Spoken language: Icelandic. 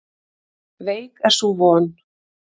Veik er sú von.